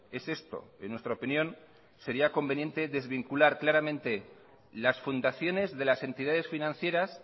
es esto en nuestra opinión sería conveniente desvincular claramente las fundaciones de las entidades financieras